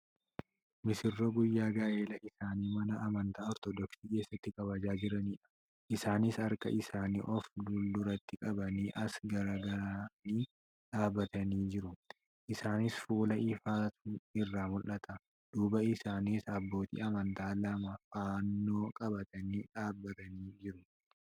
Misirroo guyyaa gaa'ela isaanii mana amantaa ortoodoksii keessatti kabajaa jiranidha. Isaanis harka isaanii of fulduratti qabanii as garagaranii dhaabbatanii jiru. Isaanis fuula ifaatu irraa mul'ata. Duuba isaaniis abbootii amantaa lama fannoo qabatanii dhaabbatanii jiru.